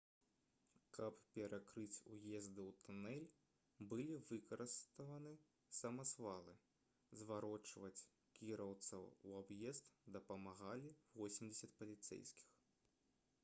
каб перакрыць уезды ў тунэль былі выкарыстаны самазвалы заварочваць кіроўцаў у аб'езд дапамагалі 80 паліцэйскіх